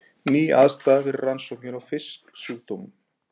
Ný aðstaða fyrir rannsóknir á fisksjúkdómum